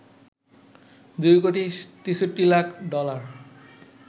২ crore ৬৩ lakh dollar